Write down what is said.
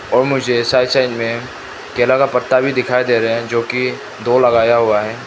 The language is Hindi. ओ मुझे साइड साइड में केला का पत्ता भी दिखाई दे रहा है जो कि दो लगाया हुआ है।